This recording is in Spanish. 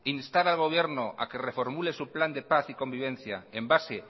instar al gobierno a que reformule su plan de paz y convivencia en base